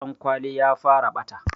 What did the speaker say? Dan kwali ya fara ɓata